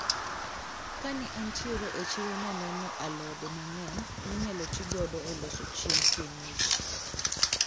Kane antiere e chiro naneno alode mang`eny minyalo tigodo e loso chiemb kienyeji.